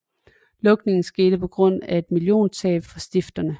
Lukningen skete på grundlag af et milliontab for stifterne